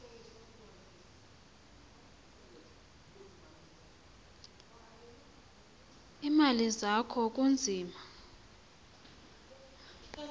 iimali zakho kunzima